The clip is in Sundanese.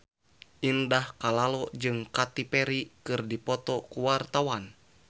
Indah Kalalo jeung Katy Perry keur dipoto ku wartawan